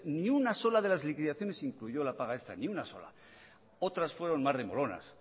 ni una sola de las liquidaciones incluyó la paga extra ni una sola otras fueron más remolonas